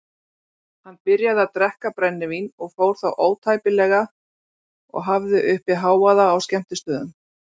Hann byrjaði að drekka brennivín og fór þá ótæpilega og hafði uppi hávaða á skemmtistöðum.